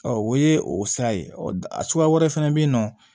o ye o sira ye a suguya wɛrɛ fɛnɛ bɛ yen nɔ